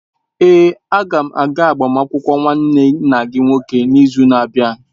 Èé, a ga m aga agbamakwụkwọ nwanne nna gị nke nwoke n'izu na-abịa.